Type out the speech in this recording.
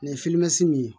Nin ye min ye